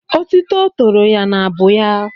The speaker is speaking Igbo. Otuto tòrò ya n'abụ ya.